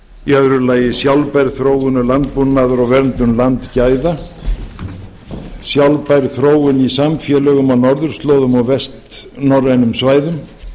í öðru lagi sjálfbær þróunlandbúnaður og verndun landgæða sjálfbær þróun í samfélögum á norðurslóðum og vestnorrænum svæðum